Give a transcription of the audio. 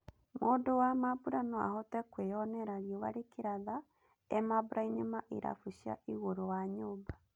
Mũndũ wa mambũra no ahote kwĩonera riũa rĩkĩratha e mambũrainĩ ma ĩrabu cia igũrũ wa nyũmba.